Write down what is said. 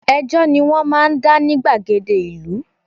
Ẹjọ́ ni wọ́n máa ń dá ní gbàgede ìlú